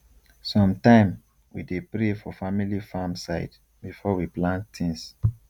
sometime we dey pray for family farm side before we plant things